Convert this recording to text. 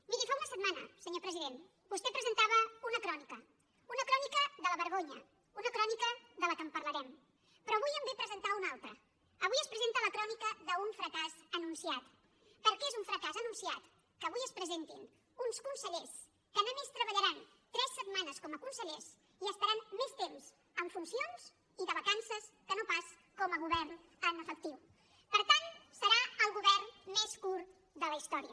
miri fa una setmana senyor president vostè presentava una crònica una crònica de la vergonya una crònica de la qual parlarem però avui en ve a presentar una altra avui es presenta la crònica d’un fracàs anunciat perquè és un fracàs anunciat que avui es presentin uns consellers que només treballaran tres setmanes com a consellers i estaran més temps en funcions i de vacances que no pas com a govern en efectiu per tant serà el govern més curt de la història